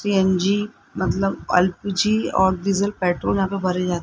CNG मतलब LPG और diesel petrol यहां पर भरे जा--